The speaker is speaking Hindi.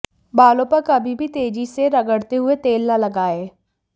बालों पर कभी भी तेजी से रगड़ते हुए तेल न लगाएं